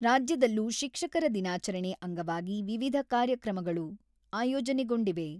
ರಾಜ್ಯದಲ್ಲೂ ಶಿಕ್ಷಕರ ದಿನಾಚರಣೆ ಅಂಗವಾಗಿ ವಿವಿಧ ಕಾರ್ಯಕ್ರಮಗಳು ಆಯೋಜನೆಗೊಂಡಿವೆ.